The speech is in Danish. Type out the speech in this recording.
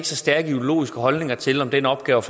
så stærke ideologiske holdninger til om den opgave